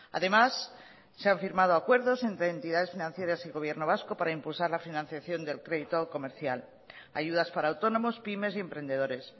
además se han firmado acuerdos entre entidades financieras y gobierno vasco para impulsar la financiación del crédito comercial ayudas para autónomos pymes y emprendedores